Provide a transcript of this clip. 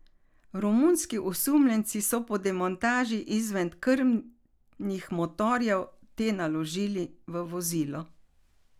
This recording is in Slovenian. Romunski osumljenci so po demontaži izven krmnih motorjev te naložili v vozilo.